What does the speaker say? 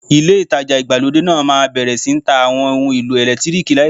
Ilé ìtajà ìgbàlódé náà máa bẹ̀rẹ̀ sí ń ta Àwọn ohun èlò ẹ̀lẹ́tíríìkì láìpẹ́.